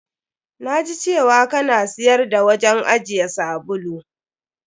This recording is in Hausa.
Na ji cewa ka na siyar da wajen ajiye sabulu.